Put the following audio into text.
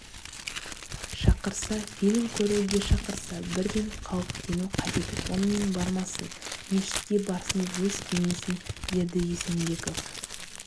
шақырса фильм көруге шақырса бірден қауіптену қажет онымен бармасын мешітке барсын деп өз кеңесін берді есенбеков